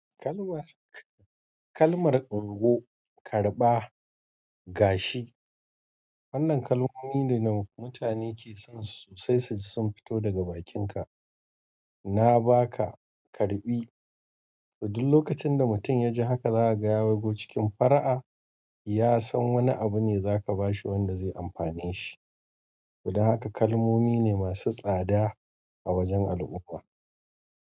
Kalmar, kalmar ungo, karɓa, gashi. Wannan kalmomi ne da mutane ke son su sosai sosai, sun fito daga bakinka. Na ba ka karɓi. Duk lokacin da mutum ya ji haka zaka ga ya waigo cikin fara'a, ya san wani abu ne zaka ba shi wanda zai amfane shi. To dan haka kalmomi ne masu tsada a wajen al'umma.